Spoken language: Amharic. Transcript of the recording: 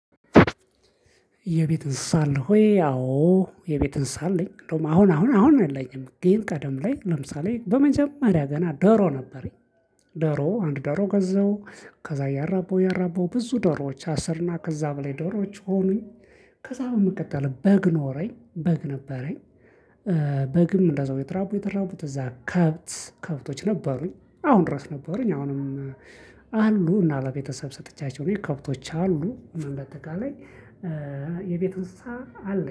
የቤት እንስሳ አለህ ወይ? አዎ የቤት እንስሳ አለኝ። እንደውም አሁን አሁን አሁን የለኝም፣ ግን ቀደም ላይ ለምሳሌ በመጀመሪያ ገና ዶሮ ነበረኝ። ዶሮ አንድ ዶሮ ገዛሁ ከዛ እያራባሁ እያራባሁ ብዙ ዶሮዎች አስርና ከዛ በላይ ዶሮዎች ሆኑኝ ከዛ በመቀጠል በግ ኖረኝ፣ በግ ነበረኝ። በግም እንደዛው እየተራቡ እየተራቡ እዛ ከብት ከብቶች ነበሩኝ። አሁን ድረስ ነበረኝ አሁንም አሉ እና ለቤተሰብ ሰጥቻቸው ነው። ከብቶች አሉ እና እንደ አጠቃላይ የቤት እንስሳ አለኝ